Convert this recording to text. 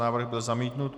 Návrh byl zamítnut.